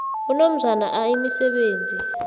unomzana a imisebenzi